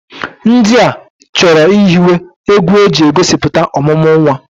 Ndị a chọrọ ihiwe egwu e ji egosipụta ọmụmụ nwa.